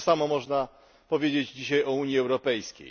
To samo można powiedzieć dzisiaj o Unii Europejskiej.